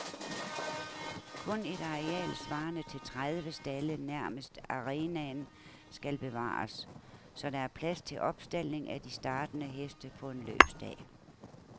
Kun et areal svarende til tredive stalde nærmest arenaen skal bevares, så der er plads til opstaldning af de startende heste på en løbsdag.